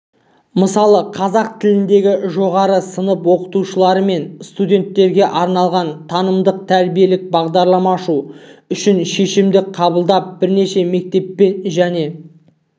мысалы қазақ тілінде жоғары сынып оқушылары мен студенттерге арналған танымдық-тәрбиелік бағдарлама ашу үшін шешім қабылдап бірнеше мектеппен және